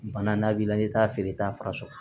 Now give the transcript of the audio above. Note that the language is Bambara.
Bana n'a b'i la i t'a feere i t'a fa sɔrɔ